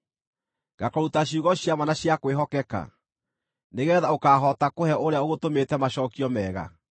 ngakũruta ciugo cia ma na cia kwĩhokeka, nĩgeetha ũkaahota kũhe ũrĩa ũgũtũmĩte macookio mega?